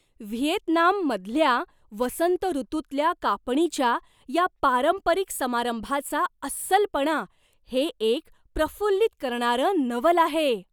व्हिएतनाममधल्या वसंत ऋतूतल्या कापणीच्या या पारंपरिक समारंभाचा अस्सलपणा हे एक प्रफुल्लित करणारं नवल आहे.